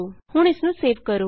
ਹੁਣ ਇਸ ਨੂੰ ਸੇਵ ਕਰੋ